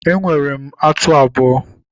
Enwere m atụ abụọ.